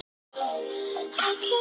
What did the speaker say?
Næsta stig nefnist miðstig.